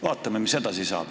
Vaatame, mis edasi saab.